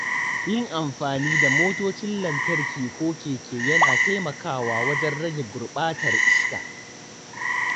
Yin amfani da motocin lantarki ko keke yana taimakawa wajen rage gurbatar iska.